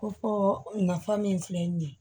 Ko fɔ nafa min filɛ nin ye